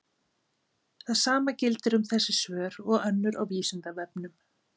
það sama gildir um þessi svör og önnur á vísindavefnum